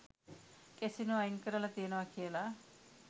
Casino අයින් කරලා තියෙනවා කියලා.